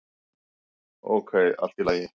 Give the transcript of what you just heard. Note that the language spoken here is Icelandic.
"""Ókei, allt í lagi."""